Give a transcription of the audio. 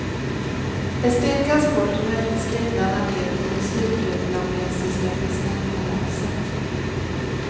Ett stenkast bort vräktes grindarna ned till det sydvietnamesiska presidentpalatset.